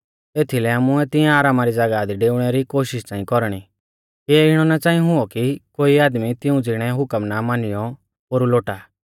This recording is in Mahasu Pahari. एथीलै आमुऐ तिऐं आरामा री ज़ागाह दी डेऊणै री कोशिष च़ांई कौरणी किऐ इणौ ना च़ांई हुऔ कि कोई आदमी तिऊं ज़िणै हुकम ना मानियौ पोरु लोटा